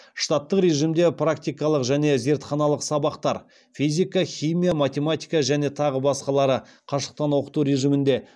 штаттық режимде практикалық және зертханалық сабақтар қашықтан оқыту режимінде